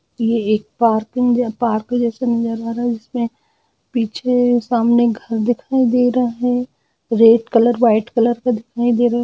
ये एक parking parking जैसा नजर आ रहा हैं जिसमें पीछे सामने घर दिखाई दे रहा है रेड कलर व्हाइट कलर का दिखाई दे रहा--